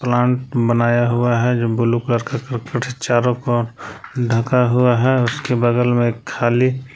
plant बनाया हुआ है जो ब्लू करके चारों कोनो पर ढका हुआ है उसके बगल में खाली--